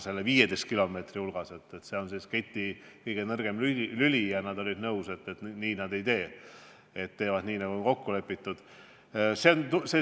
See 15 kilomeetrine lõik oleks keti kõige nõrgem lüli ja too Balti riik oli nõus tegema nii, nagu on kokku lepitud.